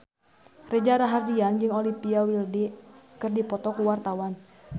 Reza Rahardian jeung Olivia Wilde keur dipoto ku wartawan